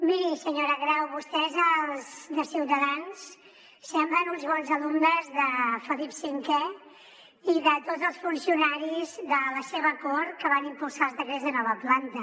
miri senyora grau vostès els de ciutadans semblen uns bons alumnes de felip v i de tots els funcionaris de la seva cort que van impulsar els decrets de nova planta